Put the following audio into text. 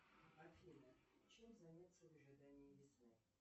афина чем заняться в ожидании весны